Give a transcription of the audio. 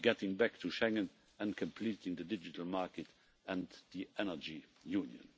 getting back to Schengen and completing the digital market and the energy union.